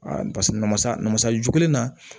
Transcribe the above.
paseke namasa na masa jugu na